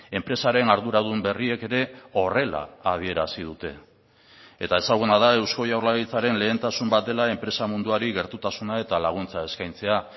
enpresaren arduradun berriek ere horrela adierazi dute eta ezaguna da eusko jaurlaritzaren lehentasun bat dela enpresa munduari gertutasuna eta laguntza eskaintzea